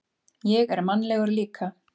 Ég er mannlegur líka.